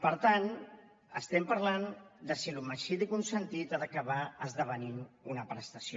per tant estem parlant de si l’homicidi consentit ha d’acabar esdevenint una prestació